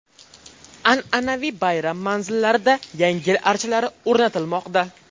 An’anaviy bayram manzillarida Yangi yil archalari o‘rnatilmoqda.